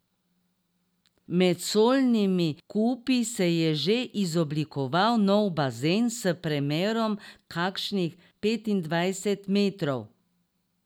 Med solnimi kupi se je že izoblikoval nov bazen s premerom kakšnih petindvajset metrov.